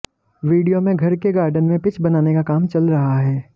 video में घर के गार्डन में पिच बनाने का काम चल रहा है